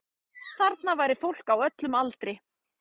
Þarna væri fólk á öllum aldri